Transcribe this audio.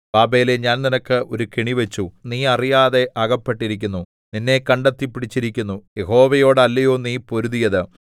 ബാബേലേ ഞാൻ നിനക്ക് ഒരു കെണിവച്ചു നീ അറിയാതെ അകപ്പെട്ടിരിക്കുന്നു നിന്നെ കണ്ടെത്തി പിടിച്ചിരിക്കുന്നു യഹോവയോടല്ലയോ നീ പൊരുതിയത്